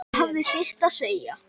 Það hafði sitt að segja.